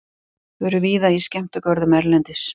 Þau eru víða í skemmtigörðum erlendis.